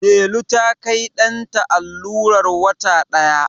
Delu ta Kai ɗanta allurar wata ɗaya